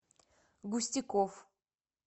густяков